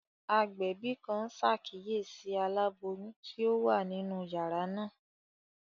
Agbẹbi kan n ṣakiyesi alaboyun ti o wa ninu yara naa.